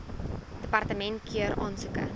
departement keur aansoeke